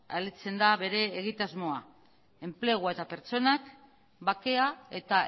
da bere egitasmoa enplegua eta pertsonak bakea eta